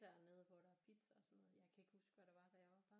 Dernede hvor der er pizza og sådan noget jeg kan ikke huske hvad der var da jeg var barn